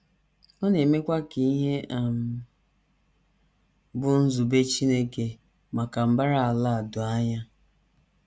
Ọ na - emekwa ka ihe um bụ́ nzube Chineke maka mbara ala a doo anya.